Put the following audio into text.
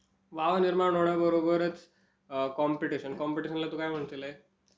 Wow निर्माण होण्याबरोबरच competition. कॉम्पिटिशनला तू काय म्हणशील आई?